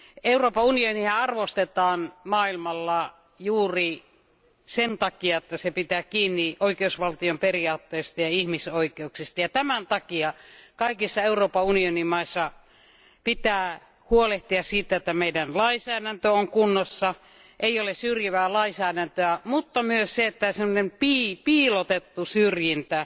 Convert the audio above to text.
Euroopan unionia arvostetaan maailmalla juuri sen takia, että se pitää kiinni oikeusvaltion periaatteesta ja ihmisoikeuksista, ja tämän takia kaikissa Euroopan unionin maissa pitää huolehtia siitä, että meidän lainsäädäntömme on kunnossa, että ei ole syrjivää lainsäädäntöä, mutta myös siitä, että piilotettu syrjintä,